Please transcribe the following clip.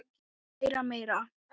Læra meira.